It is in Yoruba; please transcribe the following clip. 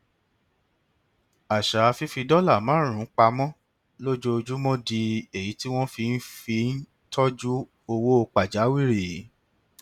àṣà fífi dọlà márùnún pa mọ lójoojúmọ di èyí tí wọn fi ń fi ń tọjú owó pàjáwìrì